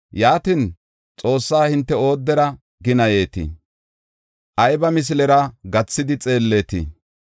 Yaatin, Xoossaa hinte oodera ginayetii? Ayba misilera gathidi xeelletii?